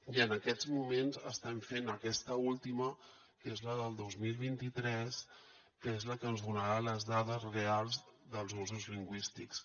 i en aquests moments estem fent aquesta última que és la del dos mil vint tres que és la que ens donarà les dades reals dels usos lingüístics